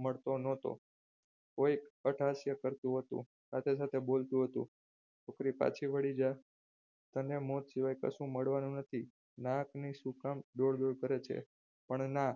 મળતો ન હતો કોઈ હાસ્ય કરતું હતું સાથે સાથે બોલતું હતું છોકરી પાછી વળી જા તને મોત સિવાય કશું મળવાનું નથી નાકની શુ કામ દોડ દોડ કરે છે પણ ના